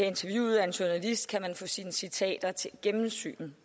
interviewet af en journalist kan man få sine citater til gennemsyn og